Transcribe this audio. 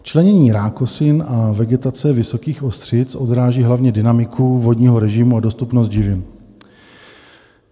Členění rákosin a vegetace vysokých ostřic odráží hlavně dynamiku vodního režimu a dostupnost živin.